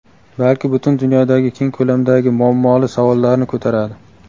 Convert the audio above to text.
balki butun dunyodagi keng ko‘lamdagi muammoli savollarni ko‘taradi.